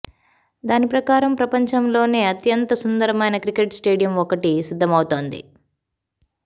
దాని ప్రకారం ప్రపంచంలోనే అత్యంత సుందరమైన క్రికెట్ స్టేడియం ఒకటి సిద్ధం అవుతోంది